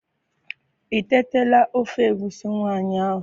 I tetala ofe egusi nwanyi ahu?